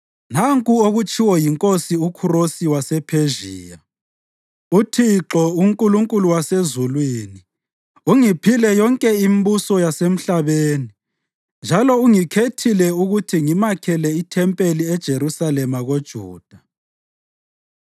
“Nanku okutshiwo yinkosi uKhurosi wasePhezhiya: ‘ UThixo, uNkulunkulu wasezulwini, ungiphile yonke imbuso yasemhlabeni njalo ungikhethile ukuthi ngimakhele ithempeli eJerusalema koJuda.